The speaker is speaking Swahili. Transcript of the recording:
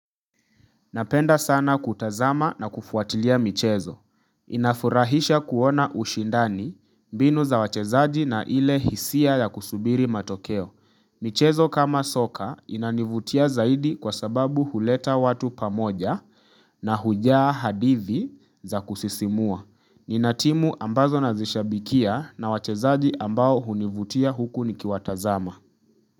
Napenda sana kutazama na kufuatilia michezo. Inafurahisha kuona ushindani, mbinu za wachezaji na ile hisia ya kusubiri matokeo. Michezo kama soka inanivutia zaidi kwa sababu huleta watu pamoja na hujaa hadithi za kusisimua. Nina timu ambazo nazishabikia na wachezaji ambao hunivutia huku nikiwatazama.